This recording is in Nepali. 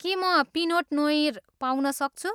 के म पिनोट नोइर पाउन सक्छु?